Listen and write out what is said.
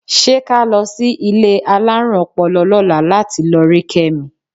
Ṣé ká lọ sí ilé alárùn ọpọlọ lọ́la láti lọ rí Kẹ́mi?